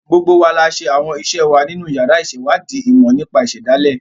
Gbogbo wa la ṣe àwọn ìṣe wa nínú yàrá ìṣèwádìí ìmọ̀ nípa ìṣẹ̀dálẹ̀.